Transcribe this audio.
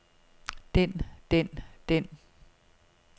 den den den